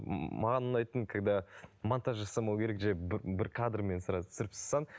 маған ұнайтыны когда монтаж жасамау керек жерін бір бір кадрмен сразу түсіріп тастасаң